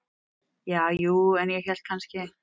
Ja, jú, en ég hélt kannski.